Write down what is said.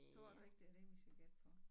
Tror du ikke det er det vi skal gætte på?